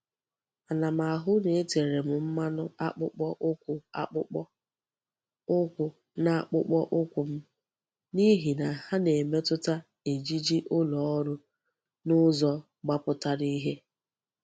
Ana m ahu na etere m mmanu akpukpo ukwu akpukpo ukwu n'akpukpo ukwu m, nihi na ha na-emetuta ejiji uloru n'uzo gbaputara ihe.